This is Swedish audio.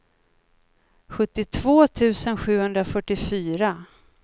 sjuttiotvå tusen sjuhundrafyrtiofyra